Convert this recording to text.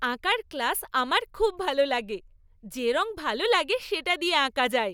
আঁকার ক্লাস আমার খুব ভালো লাগে। যে রঙ ভালো লাগে সেটা দিয়ে আঁকা যায়।